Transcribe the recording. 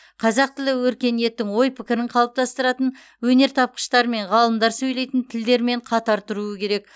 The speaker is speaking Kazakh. қазақ тілі өркениеттің ой пікірін қалыптастыратын өнертапқыштар мен ғалымдар сөйлейтін тілдермен қатар тұруы керек